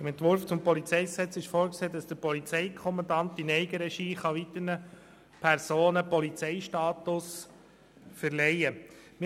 Im Entwurf zum PolG ist vorgesehen, dass der Polizeikommandant in Eigenregie weiteren Personen den Polizeistatus verleihen kann.